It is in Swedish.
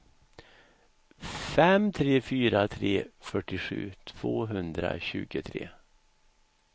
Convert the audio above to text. fem tre fyra tre fyrtiosju tvåhundratjugotre